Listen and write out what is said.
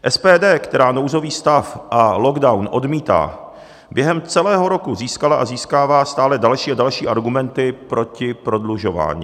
SPD, která nouzový stav a lockdown odmítá, během celého roku získala a získává stále další a další argumenty proti prodlužování.